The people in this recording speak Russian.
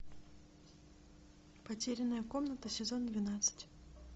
потерянная комната сезон двенадцать